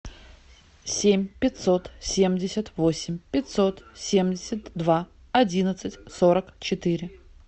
семь пятьсот семьдесят восемь пятьсот семьдесят два одиннадцать сорок четыре